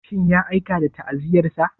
Shin ya aika da ta'aziyyarsa?